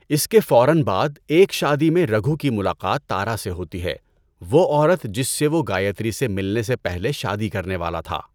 اس کے فوراً بعد، ایک شادی میں، رگھو کی ملاقات تارا سے ہوتی ہے، وہ عورت جس سے وہ گایتری سے ملنے سے پہلے شادی کرنے والا تھا۔